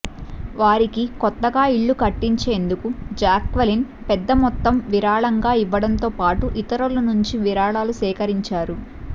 వారికి కొత్తగా ఇళ్లు కట్టించేందుకు జాక్వెలిన్ పెద్ద మొత్తం విరాళంగా ఇవ్వడంతోపాటు ఇతరుల నుంచి విరాళాలు సేకరించారు